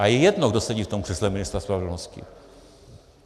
A je jedno, kdo sedí v tom křesle ministra spravedlnosti.